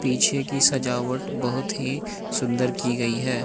पीछे की सजावट बहुत ही सुंदर की गई है।